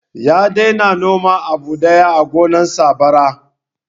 Ya daina noman abu daya a gonar sa bara